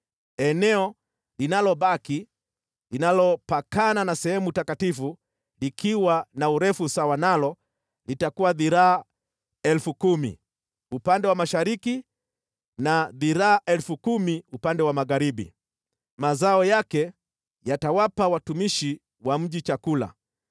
Eneo linalobaki, linalopakana na sehemu takatifu likiwa na urefu sawa nalo, litakuwa dhiraa 10,000 upande wa mashariki na dhiraa 10,000 upande wa magharibi. Mazao yake yatawapa watumishi wa mji chakula.